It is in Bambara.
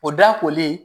O da kolen